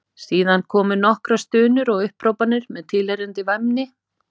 Síðan komu nokkrar stunur og upphrópanir með tilheyrandi væmni.